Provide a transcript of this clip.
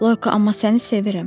Loyko, amma səni sevirəm.